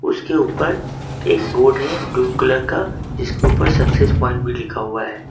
उसके ऊपर एक बोर्ड है ब्लू कलर का जिसके ऊपर सक्सेस प्वाइंट भी लिखा हुआ है।